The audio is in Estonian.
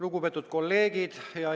Lugupeetud kolleegid!